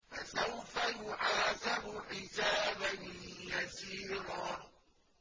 فَسَوْفَ يُحَاسَبُ حِسَابًا يَسِيرًا